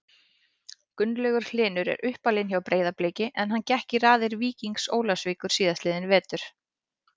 Gunnlaugur Hlynur er uppalinn hjá Breiðabliki en hann gekk í raðir Víkings Ólafsvíkur síðastliðinn vetur.